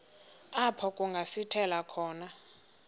apho kungasithela khona